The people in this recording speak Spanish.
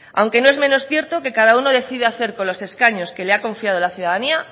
aunque no es menos cierto que cada uno decida hacer con los escaños que le ha confiado la ciudadanía